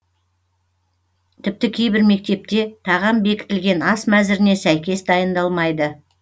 тіпті кейбір мектепте тағам бекітілген ас мәзіріне сәйкес дайындалмайды